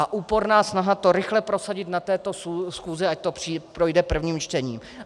A úporná snaha to rychle prosadit na této schůzi, ať to projde prvním čtením.